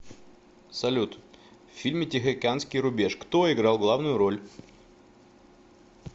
салют в фильме тихоокеанский рубеж кто играл главную роль